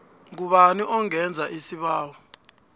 ngubani ongenza isibawo